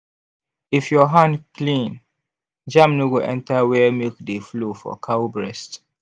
if your hand clean germ no go enter where milk dey flow for cow breast